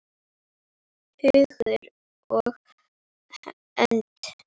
Hugur og hönd.